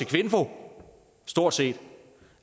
kvinfo stort set